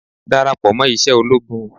Dàràpọ̀ mọ́ iṣẹ́ ológun.